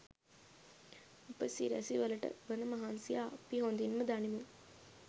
උප සිරැසි වලට වන මහන්සිය අපි හොඳින් ම දනිමු.